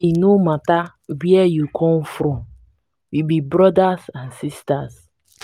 e no mata where you come from we be brodas and sistas.